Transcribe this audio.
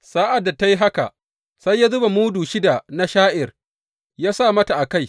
Sa’ad da ta yi haka, sai ya zuba mudu shida na sha’ir ya sa mata a kai.